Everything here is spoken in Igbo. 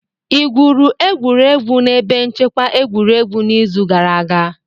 Ị gwuru egwuregwu na ebe nchekwa egwuregwu n'izu gara aga?